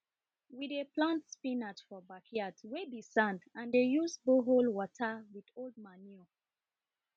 we dey plant spinach for backyard wey be sand and dey use borehole water with old manure